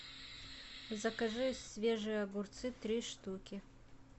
закажи свежие огурцы три штуки